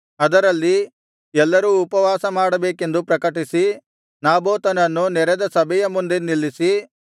ಅದರಲ್ಲಿ ಎಲ್ಲರೂ ಉಪವಾಸಮಾಡಬೇಕೆಂದು ಪ್ರಕಟಿಸಿ ನಾಬೋತನನ್ನು ನೆರೆದ ಸಭೆಯ ಮುಂದೆ ನಿಲ್ಲಿಸಿ